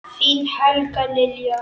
Þín Helga Lilja.